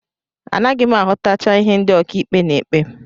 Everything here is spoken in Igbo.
Anaghị m aghọtacha ihe ndị ọkàikpe na-ekpe